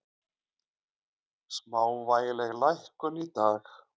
Smávægileg lækkun í dag